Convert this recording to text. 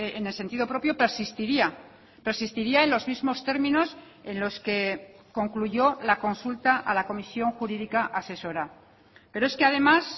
en el sentido propio persistiría persistiría en los mismos términos en los que concluyó la consulta a la comisión jurídica asesora pero es que además